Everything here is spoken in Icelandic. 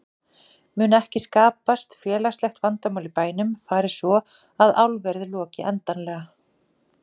Mun ekki skapast félagslegt vandamál í bænum fari svo að álverið loki endanlega?